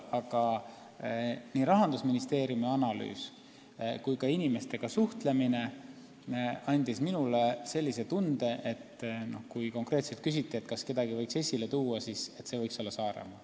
Aga nii Rahandusministeeriumi analüüs kui ka inimestega suhtlemine andis minule sellise tunde, et kui konkreetselt küsiti, kas kedagi võiks esile tuua, siis minu arvates võiks see olla Saaremaa.